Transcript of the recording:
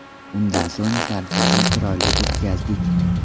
Undan so‘ng tadbirni chiroyli o‘tkazdik.